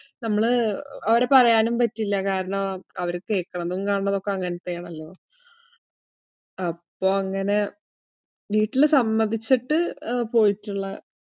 നമ്മള് അവിടെ പറയാനും പറ്റില്ല. കാരണം അവര് കേക്കണതും, കാണുന്നതും ഒക്കെ അങ്ങനെത്തെയാണല്ലോ. അപ്പൊ അങ്ങനെ വീട്ടില് സമ്മതിച്ചിട്ട് പോയിട്ടുള്ള